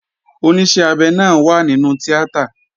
Oníṣẹ́ abẹ náà wà nínú tíátà